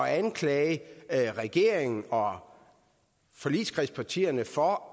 at anklage regeringen og forligskredspartierne for